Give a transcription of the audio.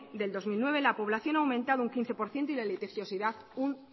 del dos mil nueve la población ha aumentando un quince por ciento y la litigiosidad un